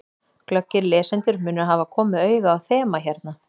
Glöggir lesendur munu hafa komið auga á þema hérna.